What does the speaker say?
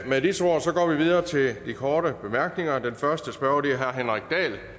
med disse ord går vi videre til de korte bemærkninger og den første spørger er herre henrik dahl